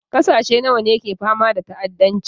Ƙasashe nawa ne ke fama da ta'addanci?